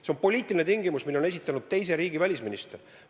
See on poliitiline tingimus, mille on esitanud teise riigi välisminister.